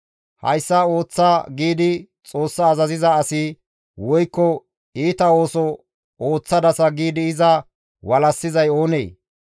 ‹Hayssa ooththa› giidi Xoossa azaziza asi woykko, ‹Iita ooso ooththadasa› giidi iza walassizay oonee?